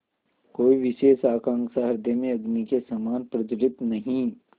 कोई विशेष आकांक्षा हृदय में अग्नि के समान प्रज्वलित नहीं